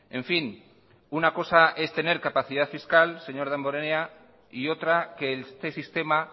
en fin una cosa es tener capacidad fiscal señor damborenea y otra que este sistema